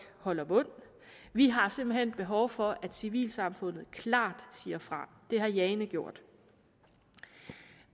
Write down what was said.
holder mund vi har simpelt hen behov for at civilsamfundet klart siger fra det har jane gjort